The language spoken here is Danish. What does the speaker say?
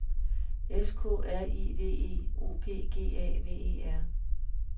S K R I V E O P G A V E R